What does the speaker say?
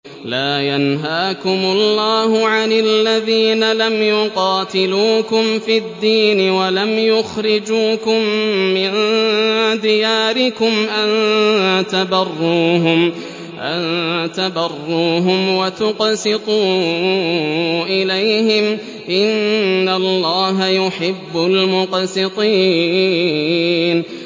لَّا يَنْهَاكُمُ اللَّهُ عَنِ الَّذِينَ لَمْ يُقَاتِلُوكُمْ فِي الدِّينِ وَلَمْ يُخْرِجُوكُم مِّن دِيَارِكُمْ أَن تَبَرُّوهُمْ وَتُقْسِطُوا إِلَيْهِمْ ۚ إِنَّ اللَّهَ يُحِبُّ الْمُقْسِطِينَ